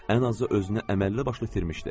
Ən azı özünü əməlli başlı itirmişdi.